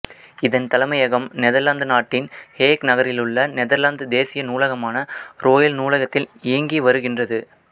இதன் தலைமையகம் நெதர்லாந்து நாட்டின் ஹேக் நகரிலுள்ள நெதர்லாந்து தேசிய நூலகமான ரோயல் நூலகத்தில் இயங்கி வருகின்றது